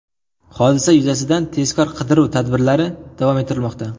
Hodisa yuzasidan tezkor-qidiruv tadbirlari davom ettirilmoqda.